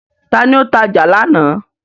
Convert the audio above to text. Ta ni ó tajà lánàá.